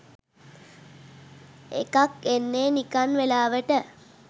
එකක් එන්නේ නිකන් වෙලාවට